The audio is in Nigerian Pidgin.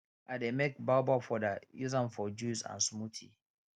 i dey make baobab powder use am for juice and smoothie